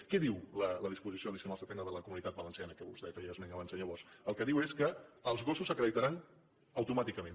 què diu la disposició addicional setena de la comunitat valenciana de què vostè feia esment abans senyor bosch el que diu és que els gossos s’acreditaran automàticament